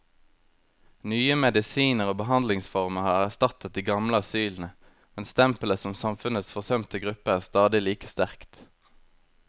Nye medisiner og behandlingsformer har erstattet de gamle asylene, men stempelet som samfunnets forsømte gruppe er stadig like sterkt.